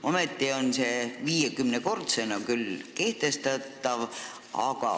Ometi on nähtud ette see kehtestada, 50-kordsena küll.